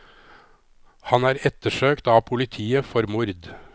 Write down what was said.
Han er ettersøkt av politiet for mord.